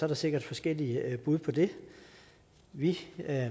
der sikkert forskellige bud på det vi